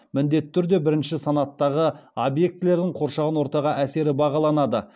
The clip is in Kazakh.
міндетті түрде бірінші санаттағы объектілердің қоршаған ортаға әсері бағаланады